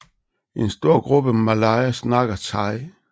En stor gruppe malayer snakker thai